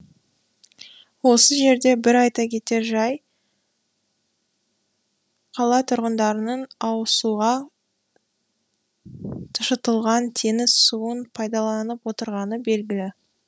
осы жерде бір айта кетер жай қала тұрғындарының ауызсуға тұшытылған теңіз суын пайдаланып отырғаны белгілі